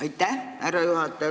Aitäh, härra juhataja!